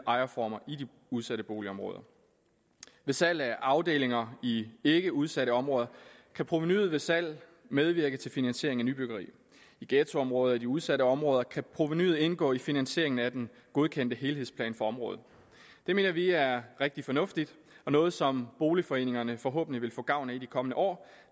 ejerformer i de udsatte boligområder ved salg af afdelinger i ikkeudsatte områder kan provenuet ved salg medvirke til finansiering af nybyggeri i ghettoområder og i de udsatte områder kan provenuet indgå i finansieringen af den godkendte helhedsplan for området det mener vi er rigtig fornuftigt og noget som boligforeningerne forhåbentlig vil få gavn af i de kommende år